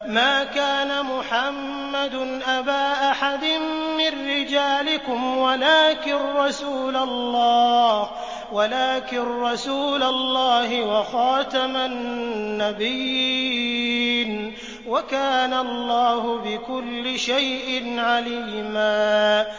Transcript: مَّا كَانَ مُحَمَّدٌ أَبَا أَحَدٍ مِّن رِّجَالِكُمْ وَلَٰكِن رَّسُولَ اللَّهِ وَخَاتَمَ النَّبِيِّينَ ۗ وَكَانَ اللَّهُ بِكُلِّ شَيْءٍ عَلِيمًا